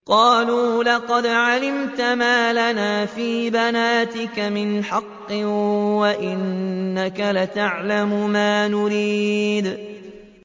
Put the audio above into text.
قَالُوا لَقَدْ عَلِمْتَ مَا لَنَا فِي بَنَاتِكَ مِنْ حَقٍّ وَإِنَّكَ لَتَعْلَمُ مَا نُرِيدُ